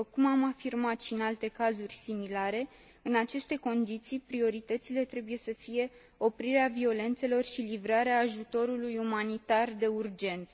După cum am afirmat și în alte cazuri similare, în aceste condiții prioritățile trebuie să fie oprirea violențelor și livrarea ajutorului umanitar de urgență.